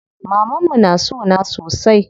Mamanmu na sona sosai.